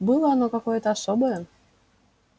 было оно какое-то особое